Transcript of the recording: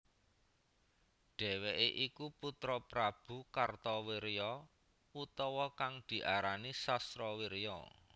Dheweke iku putra Prabu Kartawirya utawa kang diarani Sasrawirya